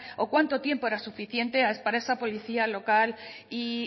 o cuánto tiempo era suficiente para esa policía local y